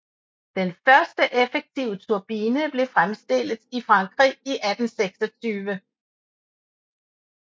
Den første effektive turbine blev fremstillet i Frankrig i 1826